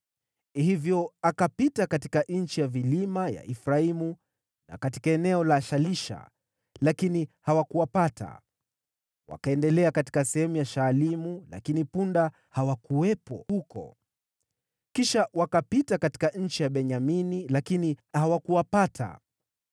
Hivyo akapita katika nchi ya vilima ya Efraimu na katika eneo la Shalisha, lakini hawakuwapata. Wakaendelea katika sehemu ya Shaalimu, lakini punda hawakuwepo huko. Kisha wakapita katika nchi ya Benyamini, lakini hawakuwapata.